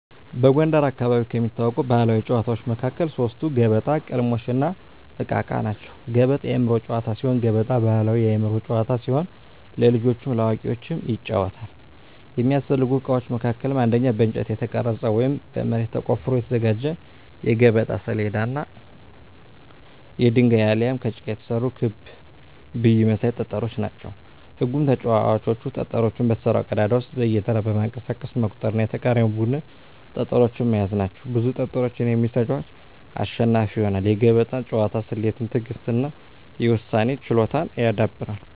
በጎንደር አካባቢ ከሚታወቁ ባሕላዊ ጨዋታዎች መካከል ሶስቱ ገበጣ፣ ቅልሞሽ፣ እና እቃ እቃ ናቸው። ገበጣ የአእምሮ ጨዋታ ሲሆን ገበጣ ባሕላዊ የአእምሮ ጨዋታ ሲሆን ለልጆችም ለአዋቂዎችም ይጫወታል። የሚያስፈልጉ እቃዎች መካከልም አንደኛ በእንጨት የተቀረጸ ወይም በመሬት ተቆፍሮ የተዘጋጀ የገበጣ ሰሌዳ እና የድንጋይ አሊያም ከጭቃ የተሰሩ ክብ ብይ መሳይ ጠጠሮች ናቸው። ህጉም ተጫዋቾች ጠጠሮቹን በተሰራው ቀዳዳ ውስጥ በየተራ በማንቀሳቀስ መቁጠር እና የተቃራኒን ቡድን ጠጠሮች መያዝ ናቸው። ብዙ ጠጠሮችን የሚይዝ ተጫዋች አሸናፊ ይሆናል። የገበጣ ጨዋታ ስሌትን፣ ትዕግሥትን እና የውሳኔ ችሎታን ያዳብራል።